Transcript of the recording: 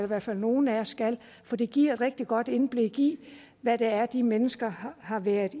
hvert fald nogle af os skal for det giver et rigtig godt indblik i hvad det er de mennesker har været